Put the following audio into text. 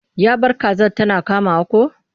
Ya bar kazar tana kamawa ko?